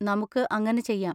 നമുക്ക് അങ്ങനെ ചെയ്യാം.